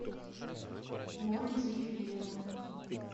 мультифильм